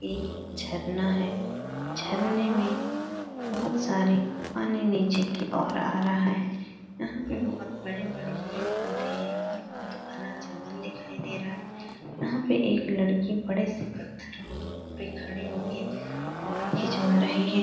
ये झरना है। झरने में बहुत सारे पानी नीचे की ओर आ रहा है। यहाँ पे बहुत बड़े बड़े पेड़ पौधे हैं और बहुत घना जंगल दिखाई दे रहा है। यहाँ पे एक लड़की बड़े से पत्थरों पे खड़ी होके फ़ोटो खिंचवा रही है।